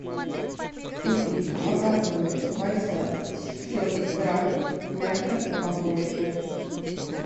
купить макароны байсад семьсот грамм в мягкой упаковке